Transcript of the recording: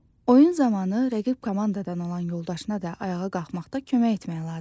Oyun zamanı rəqib komandadan olan yoldaşına da ayağa qalxmaqda kömək etmək lazımdır.